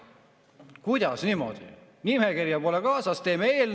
Kuidas niimoodi, nimekirja pole kaasas?